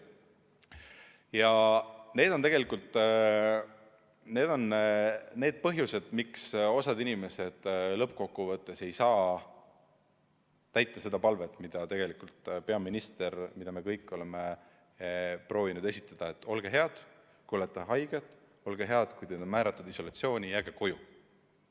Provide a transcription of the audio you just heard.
Ja need on tegelikult põhjused, miks osa inimesi lõppkokkuvõttes ei saa täita seda palvet, mida peaminister, mida me kõik oleme proovinud esitada: olge head, kui olete haige, jääge koju, kui teid on määratud isolatsiooni, olge head, jääge koju.